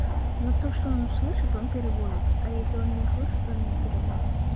ну то что он слышит он переводит а если он не услышит он не переводит